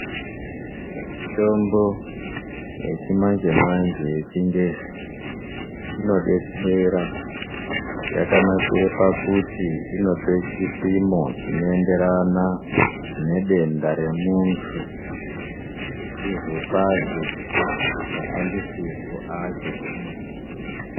Mitombo yechimanjemanje yechingezi inodetsera yakanakira pakuti inope chipimo chinoenderana nedenda remuntu yechizopahe mashandisirwo acho emene.